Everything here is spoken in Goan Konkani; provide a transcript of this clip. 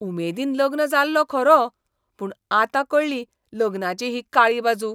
उमेदीन लग्न जाल्लों खरों, पूण आतां कळ्ळी लग्नाची ही काळी बाजू.